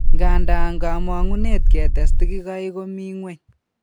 Ng'anda, kamuget ketes tigigaik ko mi ng'weny